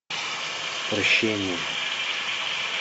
прощение